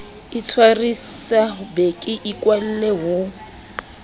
itshwarisa be ke ikwalle ho